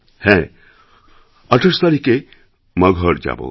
হ্যাঁ আমি ২৮ তারিখে মগহর যাব